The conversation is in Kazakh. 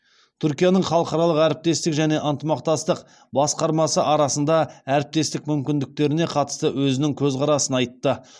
түркияның халықаралық әрекеттестік және ынтымақтастық басқармасы арасында әріптестік мүмкіндіктеріне қатысты өзінің көзқарасын айтты